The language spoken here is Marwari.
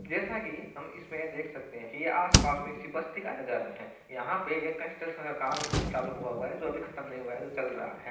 जेसा की हम इसमें देख सकते है की आसपास में किसी बस्ती का नजारा है यहा पे ये कंस्ट्रक्शन का काम चालू हुवा हुआ है जो अभी खत्म नहीं हुआ है जो चल रहा है।